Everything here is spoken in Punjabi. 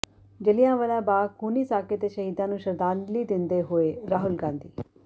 ਜੱਲ੍ਹਿਆਂਵਾਲਾ ਬਾਗ ਖੂਨੀ ਸਾਕੇ ਦੇ ਸ਼ਹੀਦਾਂ ਨੂੰ ਸ਼ਰਧਾਂਜਲੀ ਦਿੰਦੇ ਹੋਏ ਰਾਹੁਲ ਗਾਂਧੀ